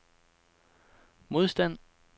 modstand